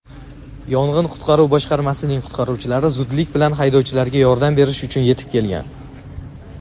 yong‘in-qutqaruv boshqarmasining qutqaruvchilari zudlik bilan haydovchilarga yordam berish uchun yetib kelgan.